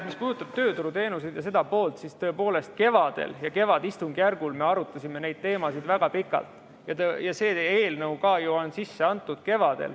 Mis puudutab tööturuteenuseid ja seda poolt, siis tõepoolest kevadistungjärgul me arutasime neid teemasid väga pikalt ja see teie eelnõu on ju ka kevadel sisse antud.